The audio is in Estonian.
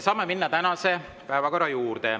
Saame minna tänase päevakorra juurde.